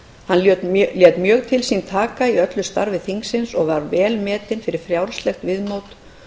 hann lét mjög til sín taka í öllu starfi þingsins og var jafnframt vel metinn fyrir frjálslegt viðmót